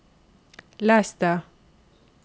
les det